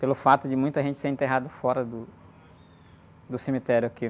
Pelo fato de muita gente ser enterrado fora do do cemitério aqui.